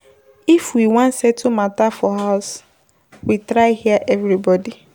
If we wan settle mata for house, we try hear everybodi.